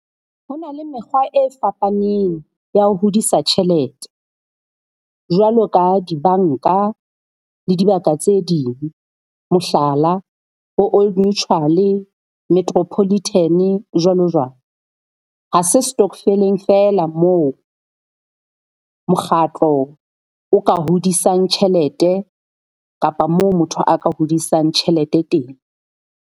Ho na le mekgwa e fapaneng ya ho hodisa tjhelete jwalo ka dibanka le dibaka tse ding. Mohlala bo Old Mutual-e Metropolitan-e jwalo jwalo. Ha se setokofeleng feela moo mokgatlo o ka hodisang tjhelete kapa moo motho a ka hodisang tjhelete teng.